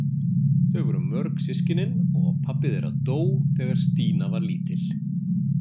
Þau voru mörg systkinin og pabbi þeirra dó þegar Stína var lítil.